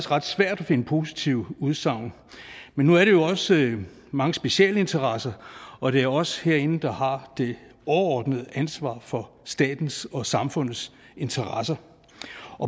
ret svært at finde positive udsagn men nu er det jo også mange specialinteresser og det er os herinde der har det overordnede ansvar for statens og samfundets interesser